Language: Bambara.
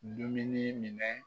Dumuni minɛ